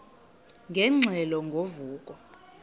ingxelo ngo vuko